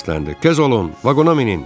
Gəzin, vaqona minin!